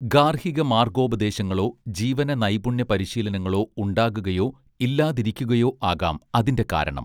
ഗാർഹിക മാർഗ്ഗോപദേശങ്ങളോ ജീവന നൈപുണ്യ പരിശീലനങ്ങളോ ഉണ്ടാകുകയോ ഇല്ലാതിരിയ്ക്കുകയോ ആകാം അതിന്റെ കാരണം